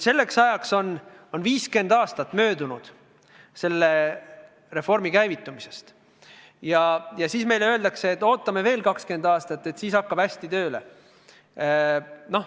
Selleks ajaks on reformi käivitamisest möödunud 50 aastat ja siis öeldakse meile, et ootame veel 20 aastat ja siis hakkab see tööle.